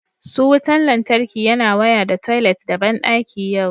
Su wutan lantarki yana waya da toilet da bandaki yau